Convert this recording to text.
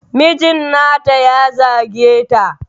Mijin nata ya zage ta.